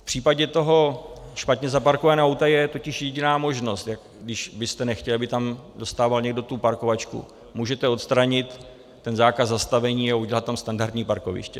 V případě toho špatně zaparkovaného auta je totiž jediná možnost, když byste nechtěl, aby tam dostával někdo tu parkovačku: můžete odstranit ten zákaz zastavení a udělat tam standardní parkoviště.